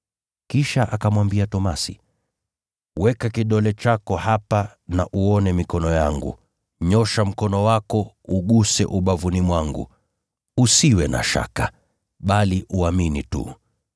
Kisha akamwambia Tomaso, “Weka kidole chako hapa na uone mikono yangu, nyoosha mkono wako uguse ubavuni mwangu. Usiwe na shaka, bali uamini tu.”